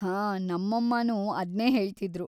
ಹಾ, ನಮ್ಮಮ್ಮನೂ ಅದ್ನೇ ಹೇಳ್ತಿದ್ರು.